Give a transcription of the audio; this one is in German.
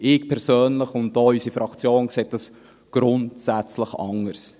Ich persönlich und auch unsere Fraktion sehen dies grundsätzlich anders.